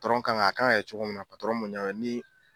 kan ka a kan ka kɛ cogo min na ni